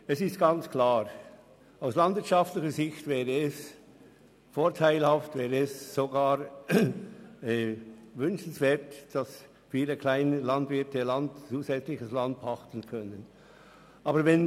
Es ist klar, dass es aus landwirtschaftlicher Sicht vorteilhaft und wünschenswert wäre, wenn viele kleine Landwirte zusätzliches Land pachten könnten.